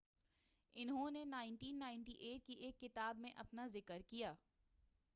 انھوں نے 1998ء کی ایک کتاب میں اپنا ذکر کیا